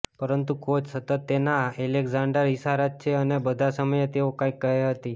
પરંતુ કોચ સતત તેના એલેકઝાન્ડર ઇશારત છે અને બધા સમયે તેઓ કંઈક કહે હતી